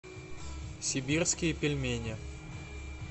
сибирские пельмени